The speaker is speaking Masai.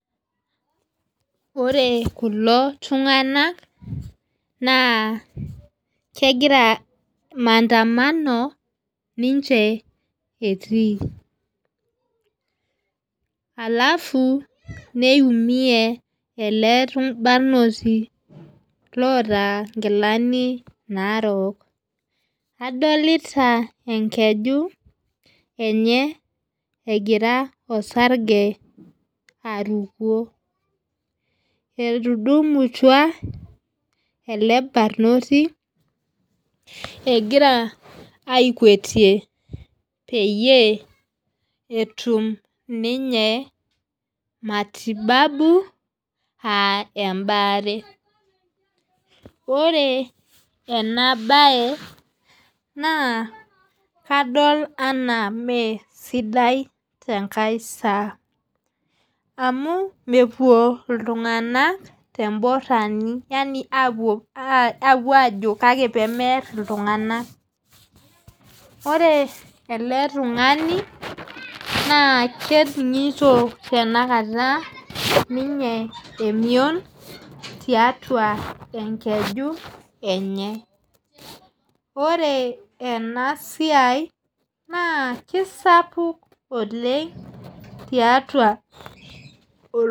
Ore kulo tunganak naa kegira maandamano ninche etii alafu neimue ele barnoti lotaa inkilani narook adolita ekeju enye egira osarge aruko etudumutua ele barnoti egira akweti peyie etum ninye matibabu ah ebaare ore ena bae naa kadol enaa mee sidai te nkae saa amu mepuo iltunganak teborani yaani apuo ajo kake pee meer iltunganak ore ele tung'ani naa keningito tenakata ninye emion tiatua ekeju enye ore ena siai naa kisapuk oleng tiatua .